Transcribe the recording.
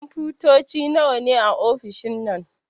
Kunfotoci nawa ne a ofishin nan?